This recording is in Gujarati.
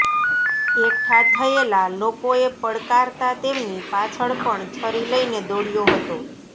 એકઠા થયેલા લોકોએ પડકારતા તેમની પાછળ પણ છરી લઈને દોડયો હતો